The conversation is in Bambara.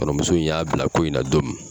Kɔrɔmuso in y'a bila ko in na don min